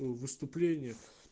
выступление